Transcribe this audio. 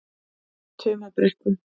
Tumabrekku